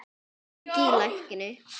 Hringi í lækni.